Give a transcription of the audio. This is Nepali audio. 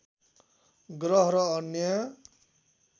ग्रह र अन्य